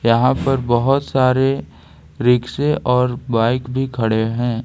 यहां पर बहोत सारे रिक्शे और बाइक भी खड़े हैं।